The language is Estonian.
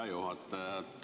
Hea juhataja!